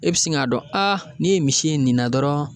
E bi sin ka dɔn a ni ye misi ye nin na dɔrɔn